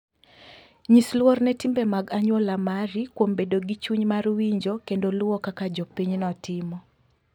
Nyis luor ne timbe mag anyuola mari kuom bedo gi chuny mar winjo kendo luwo kaka jopinyno timo.